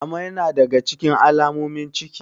Amai yana daga cikin alamomin ciki.